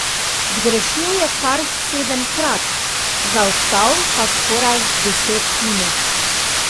Zgrešil je kar sedemkrat, zaostal pa skoraj deset minut.